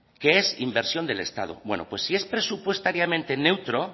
que es inversión del estado pues si es presupuestariamente neutro